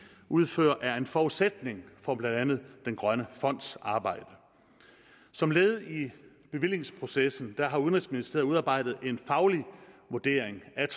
udfører er en forudsætning for blandt andet den grønne fonds arbejde som led i bevillingsprocessen har udenrigsministeriet udarbejdet en faglig vurdering af